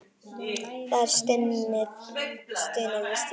Það er stunið við stýrið.